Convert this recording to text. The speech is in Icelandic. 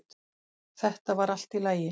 Þetta var allt í lagi